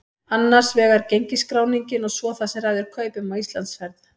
Annars vegar gengisskráningin og svo það sem ræður kaupum á Íslandsferð.